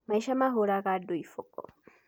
Maica mahũraga andũ iboko.